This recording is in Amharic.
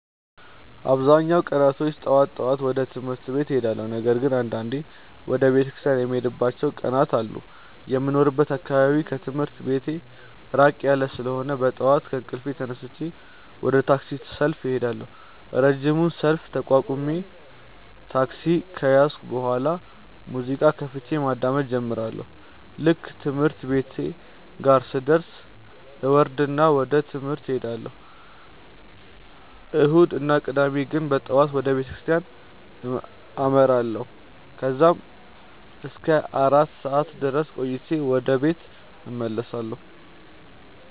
አብዛኛውን ቀናቶች ጠዋት ጠዋት ወደ ትምህርት ቤት እሄዳለሁ። ነገር ግን አንዳንዴ ወደ ቤተክርስቲያን የምሄድባቸው ቀናት አሉ። የሚኖርበት አካባቢ ከትምህርት ቤቴ ራቅ ያለ ስለሆነ በጠዋት ከእንቅልፌ ተነስቼ ወደ ታክሲ ሰልፍ እሄዳለሁ። ረጅሙን ሰልፍ ተቋቁሜ ታክሲ ከያዝኩ በኋላ ሙዚቃ ከፍቼ ማዳመጥ እጀምራለሁ። ልክ ትምህርት ቤቴ ጋር ስደርስ እወርድና ወደ ትምህርት እሄዳለሁ። እሁድ እና ቅዳሜ ግን በጠዋት ወደ ቤተክርስቲያን አመራለሁ። ከዛም እስከ አራት ሰዓት ድረስ ቆይቼ ወደ ቤት እመለሳለሁ።